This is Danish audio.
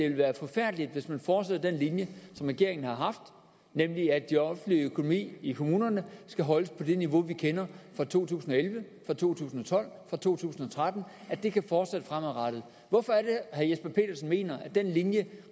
vil være forfærdeligt hvis man fortsætter den linje som regeringen har haft nemlig at den offentlige økonomi i kommunerne skal holdes på det niveau vi kender fra to tusind og elleve fra to tusind og tolv fra to tusind og tretten og at det kan fortsætte fremadrettet hvorfor er herre jesper petersen mener at den linje